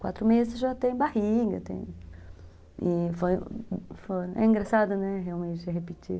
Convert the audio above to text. Quatro meses já tem barriga, tem... E foi... é engraçado, né, realmente, repetir.